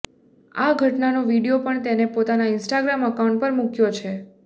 આ ઘટનાનો વિડિયો પણ તેણે પોતાના ઇન્સ્ટાગ્રામ અકાઉન્ટ પર મૂક્યો છે